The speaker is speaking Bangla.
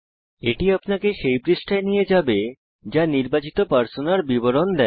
এটি আপনাকে সেই পৃষ্ঠায় নিয়ে যাবে যা নির্বাচিত পার্সোনার বিবরণ দেয়